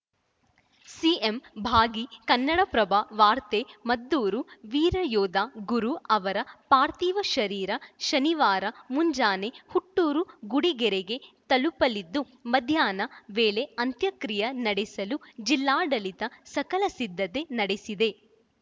CM ಭಾಗಿ ಕನ್ನಡಪ್ರಭ ವಾರ್ತೆ ಮದ್ದೂರು ವೀರಯೋಧ ಗುರು ಅವರ ಪಾರ್ಥಿವ ಶರೀರ ಶನಿವಾರ ಮುಂಜಾನೆ ಹುಟ್ಟೂರು ಗುಡಿಗೆರೆಗೆ ತಲುಪಲಿದ್ದು ಮಧ್ಯಾಹ್ನ ವೇಳೆ ಅಂತ್ಯಕ್ರಿಯೆ ನಡೆಸಲು ಜಿಲ್ಲಾಡಳಿತ ಸಕಲ ಸಿದ್ಧತೆ ನಡೆಸಿದೆ